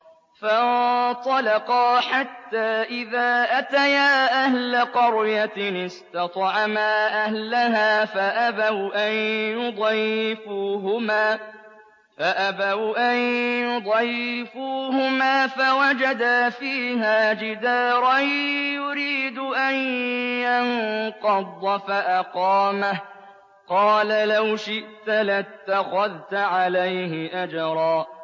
فَانطَلَقَا حَتَّىٰ إِذَا أَتَيَا أَهْلَ قَرْيَةٍ اسْتَطْعَمَا أَهْلَهَا فَأَبَوْا أَن يُضَيِّفُوهُمَا فَوَجَدَا فِيهَا جِدَارًا يُرِيدُ أَن يَنقَضَّ فَأَقَامَهُ ۖ قَالَ لَوْ شِئْتَ لَاتَّخَذْتَ عَلَيْهِ أَجْرًا